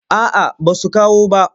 A a basu kawo bah.